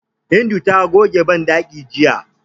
Hindu ta goge banɗakin jiya.